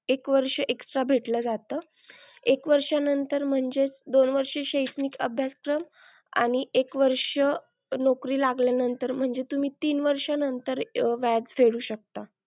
एक वर्ष extra भेटलं जातं. एक वर्ष नंतर म्हणजेच दोन वर्ष शैक्षणिक अभ्यासक्रम आणि एक वर्ष नोकरी लागल्या नंतर म्हणजे तुम्ही तीन वर्ष नंतर व्याज फेडू शकता.